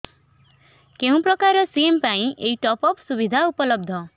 କେଉଁ ପ୍ରକାର ସିମ୍ ପାଇଁ ଏଇ ଟପ୍ଅପ୍ ସୁବିଧା ଉପଲବ୍ଧ